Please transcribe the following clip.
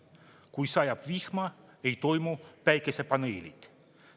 Kui sajab vihma, ei toimi päikesepaneelid.